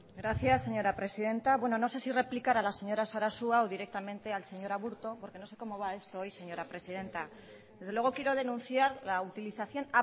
gracias señora presidenta bueno no sé si replicar a la señora sarasua o directamente al señor aburto porque no sé como va esto hoy señora presidenta desde luego quiero denunciar la utilización